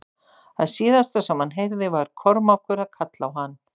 Það síðasta sem hann heyrði var Kormákur að kalla á hann.